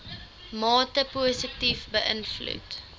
mate positief beïnvloed